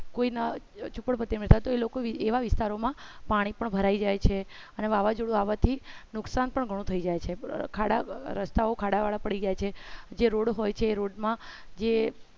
કોઈના જુપરપટ્ટી રહેતા તો એ લોકો એવા વિસ્તારોમાં પાણી પણ ભરાઈ જાય છે અને વાવાઝોડું આવવાથી નુકસાન પણ ઘણું થઈ જાય છે ખાડા રસ્તાઓ ખાડાવાળા પડી જાય છે જે રોડ હોય છે એ રોડ મા